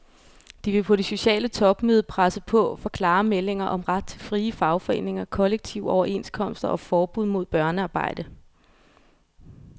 De vil på det sociale topmøde presse på for klare meldinger om ret til frie fagforeninger, kollektive overenskomster og forbud mod børnearbejde.